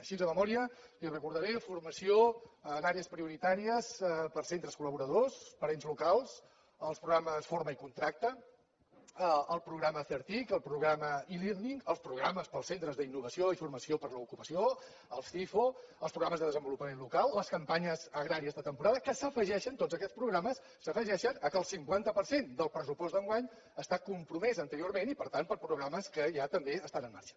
així de memòria li recordaré formació en àrees prioritàries per a centres col·laboradors per a ens locals els programes forma i contracta el programa certic el programa elearning els programes per als centres d’innovació i formació per a l’ocupació els cifo els programes de desenvolupament local les campanyes agràries de temporada que s’afegeixen tots aquests programes al fet que el cinquanta per cent del pressupost d’enguany està compromès anteriorment i per tant per programes que ja també estan en marxa